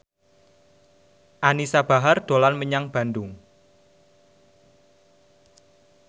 Anisa Bahar dolan menyang Bandung